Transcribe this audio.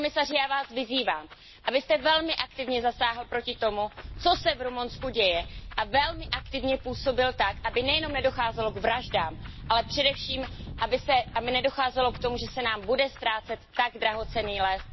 Pane komisaři, já Vás vyzývám, abyste velmi aktivně zasáhl proti tomu, co se v Rumunsku děje a velmi aktivně působil tak, aby nejenom nedocházelo k vraždám, ale především, aby nedocházelo k tomu, že se nám bude ztrácet tak drahocenný les.